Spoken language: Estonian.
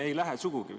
Ei lähe sugugi.